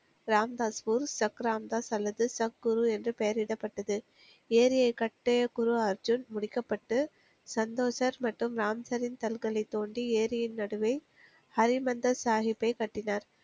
ராம்தாஸ் ஊர் சக்ரம்தாஸ் அல்லது சக்குரு என்ற பெயரிடப்பட்டது ஏரியை கட்டிய குரு அர்ஜுன் முடிக்கப்பட்டு சந்தோசர் மற்றும் ராம்சரின் கல்களைத் தோண்டி ஏரியின் நடுவே ஹரி மந்தர் சாகிப்பை கட்டினார்